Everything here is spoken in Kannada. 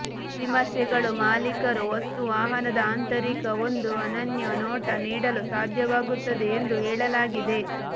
ವಿಮರ್ಶೆಗಳು ಮಾಲೀಕರು ವಸ್ತು ವಾಹನದ ಆಂತರಿಕ ಒಂದು ಅನನ್ಯ ನೋಟ ನೀಡಲು ಸಾಧ್ಯವಾಗುತ್ತದೆ ಎಂದು ಹೇಳಲಾಗಿದೆ